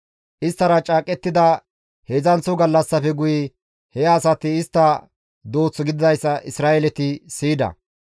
Isttara caaqettida heedzdzanththo gallassafe guye he asati istta dooth gididayssa Isra7eeleti siyida.